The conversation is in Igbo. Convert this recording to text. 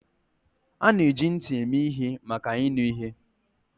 A na-eji ntị eme ihe maka ịnụ ihe.